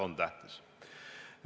On tähtis.